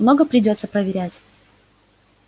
много придётся проверять